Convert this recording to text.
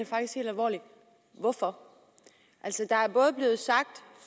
faktisk helt alvorligt hvorfor altså der er både blevet sagt